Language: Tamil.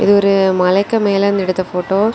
இது ஒரு மலைக்கு மேலருந்து எடுத்த ஃபோட்டோ .